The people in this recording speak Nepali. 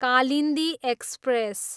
कालिन्दी एक्सप्रेस